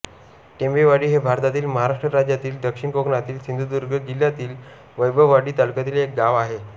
टेंबेवाडी हे भारतातील महाराष्ट्र राज्यातील दक्षिण कोकणातील सिंधुदुर्ग जिल्ह्यातील वैभववाडी तालुक्यातील एक गाव आहे